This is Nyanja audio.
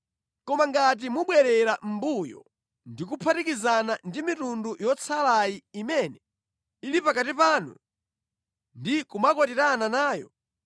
“Koma ngati mubwerera mʼmbuyo ndi kuphatikizana ndi mitundu yotsalayi imene ili pakati panu ndi kumakwatirana nayo,